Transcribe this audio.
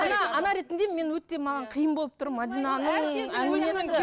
ана ретінде мен өте маған қиын болып тұр мәдинаның